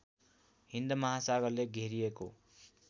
हिन्द महासागरले घेरिएको